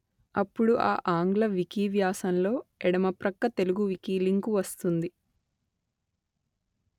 అప్పుడు ఆ ఆంగ్ల వికీ వ్యాసంలో ఎడమ ప్రక్క తెలుగు వికీ లింకు వస్తుంది